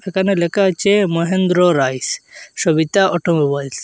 এখানে লেখা আছে মহেন্দ্র রাইস সবিতা অটোমোবাইলস ।